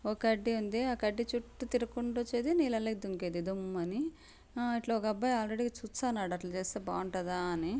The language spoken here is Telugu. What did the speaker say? ఒక కడ్డీ ఉంది ఆ కడ్డీ చుట్టూ తిరుక్కుంటూ వచ్చేది నీలల్లోకి దుంకేది దుమ్ అన్ని ఆ ఇట్లా ఒక అబ్బాయి చూచ్చన్నాడు అట్ల చేస్తే బాగుంటాదా అని --